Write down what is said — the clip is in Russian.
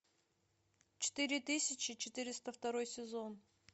четыре тысячи четыреста второй сезон